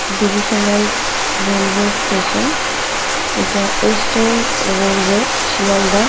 Divisional railway station এটা Eastern Railway Sealdah.